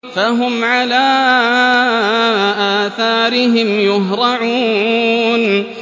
فَهُمْ عَلَىٰ آثَارِهِمْ يُهْرَعُونَ